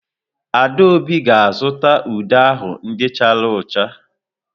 Adaobi ga-azụta ude ahụ ndị chara ụcha.